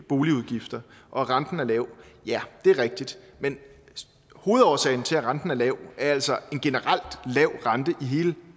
boligudgifter og at renten er lav ja det er rigtigt men hovedårsagen til at renten er lav er altså en generelt lav rente i hele